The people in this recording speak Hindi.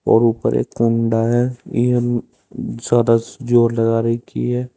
और ऊपर एक कंडा है यह ज्यादा जोर लगा रखी है।